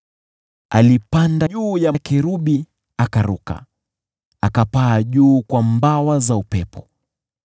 Alipanda juu ya kerubi akaruka, akapaa juu kwa mbawa za upepo.